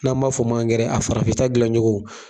N'an b'a fɔ ma angɛrɛ a farafinta dilan cogo